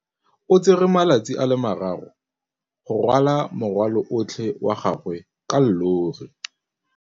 O tsere malatsi a le marraro go rwala morwalo otlhe wa gagwe ka llori.